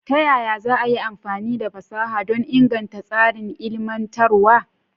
Ta yaya za a yi amfani da fasaha don inganta tsarin ilmantarwa?